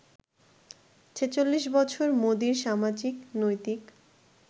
৪৬ বছর মোদির সামাজিক, নৈতিক